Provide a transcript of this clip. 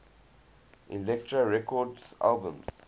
elektra records albums